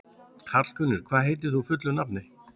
Hallgunnur, hvað heitir þú fullu nafni?